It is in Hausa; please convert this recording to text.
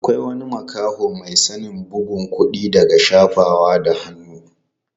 Akwai wani makaho mai sanin bugun kuɗi daga shafawa da hannu.